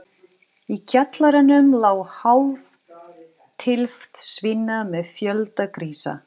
Í kjallaranum lá hálf tylft svína með fjölda grísa.